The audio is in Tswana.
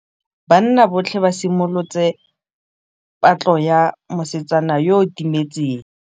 Banna botlhê ba simolotse patlô ya mosetsana yo o timetseng.